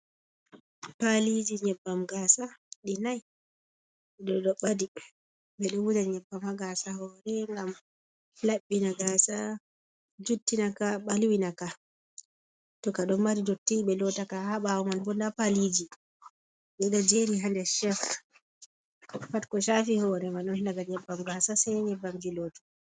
Paliji nyebbam gasa ɗi nai di do ɓa di ɓe ɗo wuja nyebbama gasa ha hore ngam labbina gasa juttinaka ka balwinaka tuka ɗo mari dotti ɓe lottaka ha bawo man bo da paliji ɓe ɗo jeri hande chef ɗo pat ko shafi hore ma on laga nyebbam gasa sai nyebbam ji lotta.